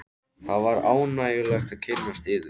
Það var ánægjulegt að kynnast yður.